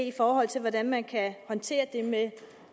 i forhold til hvordan man kan håndtere det med